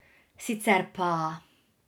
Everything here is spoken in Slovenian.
Sicer pa ...